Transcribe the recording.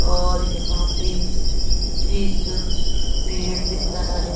और यहां पे ठीक पेड़ दिख रहा है।